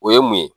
O ye mun ye